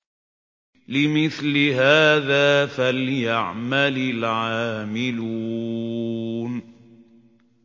لِمِثْلِ هَٰذَا فَلْيَعْمَلِ الْعَامِلُونَ